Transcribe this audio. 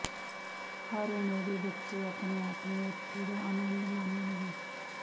ਹਰ ਉਮਰ ਦੇ ਬੱਚੇ ਆਪਣੇ ਆਪ ਨੂੰ ਇੱਥੇ ਦਾ ਆਨੰਦ ਮਾਣਨਗੇ